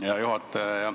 Hea juhataja!